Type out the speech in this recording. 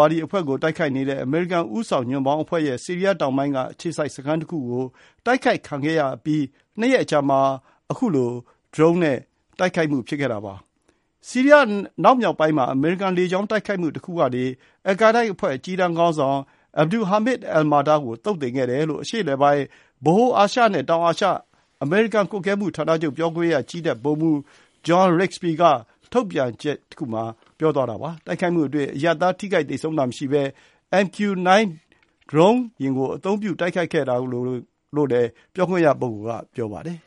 ါဒီအဖွဲ့ကို တိုက်ခိုက်နေတဲ့ အမေရိကန်ဦးဆောင် ညွန့်ပေါင်းအဖွဲ့ရဲ့ ဆီးရီးယားတောင်ပိုင်းက အခြေစိုက်စခန်းတခုကို တိုက်ခိုက်ခံခဲ့ရအပြီး နှစ်ရက်အကြာမှာ အခု ဒရုန်းနဲ့တိုက်ခိုက်မှု ဖြစ်ခဲ့တာပါ။ "ဆီးရီးယား အနောက်မြောက်ပိုင်းမှာ အမေရိကန် လေကြောင်းတိုက်ခိုက်မှု တခုကနေ အယ်လ်ကိုင်းဒါးအဖွဲ့ အကြီးတန်းခေါင်းဆောင် Abdul Hamid al-Matar ကို သုတ်သင်ခဲ့တယ်" လို့ အရှေ့အလယ်ပိုင်း၊ ဗဟိုအာရှနဲ့ တောင်အာရှဆိုင်ရာ အမေရိကန် ကွပ်ကွဲမှု စစ်ဌာနချုပ် ပြောခွင့်ရ ကြည်းတပ်ဗိုလ်မှူး John Rigsbee က ထုတ်ပြန်ချက်တခုမှာ ပြောထားပါတယ်။ တိုက်ခိုက်မှုအတွင်း အရပ်သား ထိခိုက်သေဆုံးတာ မရှိခဲ့ဘဲ MQ-9 ဒရုန်းယာဉ်ကို အသုံးပြု တိုက်ခိုက်ခဲ့တာလို့လည်း ပြောခွင့်ရက ပြောပါတယ်